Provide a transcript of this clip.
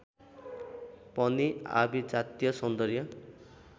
पनि आभिजात्य सौन्दर्य